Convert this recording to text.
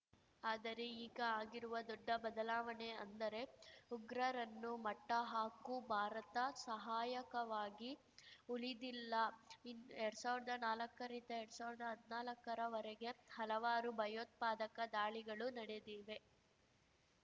ಆದರೆ ಈಗ ಆಗಿರುವ ದೊಡ್ಡ ಬದಲಾವಣೆ ಅಂದರೆ ಉಗ್ರರನ್ನು ಮಟ್ಟಹಾಕು ಭಾರತ ಸಹಾಯಕವಾಗಿ ಉಳಿದಿಲ್ಲ ಇನ್ ಎರಡ್ ಸಾವಿರ್ದಾ ನಾಲಕ್ಕರಿಂದ ಎರಡ್ ಸಾವಿರ್ದಾ ಹದ್ನಾಲಕ್ಕರ ವರೆಗೆ ಹಲವಾರು ಭಯೋತ್ಪಾದಕ ದಾಳಿಗಳು ನಡೆದಿವೆ